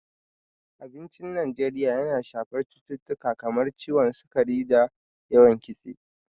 Abincin Najeriya yana shafar cututtuka kamar su ciwon sukari da yawan Kitse.